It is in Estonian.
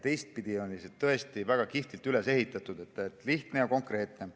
See on tõesti väga kihvtilt üles ehitatud, lihtne ja konkreetne.